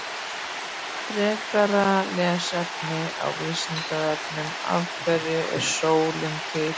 Frekara lesefni á Vísindavefnum: Af hverju er sólin til?